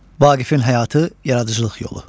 Vaqifin həyatı, yaradıcılıq yolu.